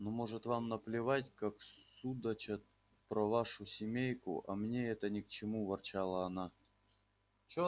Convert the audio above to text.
ну может вам наплевать как судачат про вашу семейку а мне это ни к чему ворчала она